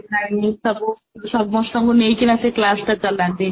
ସବୁ ସମସ୍ତଙ୍କୁ ନେଇକିନା ସେ class ଟା ଚଲାନ୍ତି